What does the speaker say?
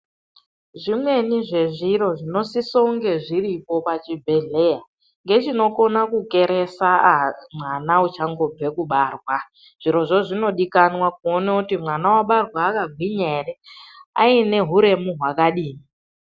Zvimweni zvezviro zvinosisonge zviripo pachibhedhleya, ngechinokona kukeresa a mwana uchangobva kubarwa. Zvirozvo zvinodikanwa kuone kuti mwana wabarwa akagwinya ere, aine huremu hwakadini.